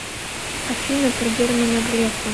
афина про германа грефа